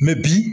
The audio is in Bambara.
bi